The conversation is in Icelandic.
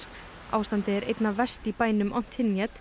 ástandið er einna verst í bænum